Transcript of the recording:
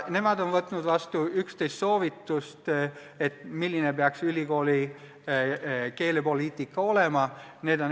Töörühm on võtnud vastu 11 soovitust, milline peaks ülikooli keelepoliitika olema.